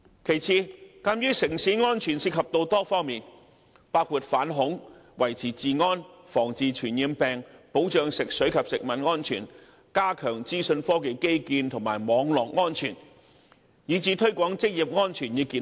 其次，城市安全涉及多方面，包括反恐、維持治安、防治傳染病、保障食水及食物安全、加強資訊科技基建及網絡安全，以至推廣職業安全與健康。